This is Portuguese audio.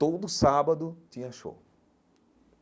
Todo sábado tinha show.